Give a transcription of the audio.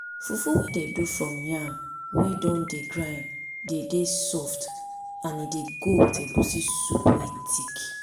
fufu wey dem do from yam wey don dey grind dey dey soft and e dey go with egusi soup wey thick